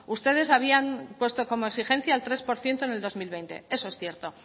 ustedes habían puesto como exigencia el tres por ciento en el dos mil veinte eso es cierto